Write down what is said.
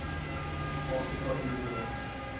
afrika eu beraad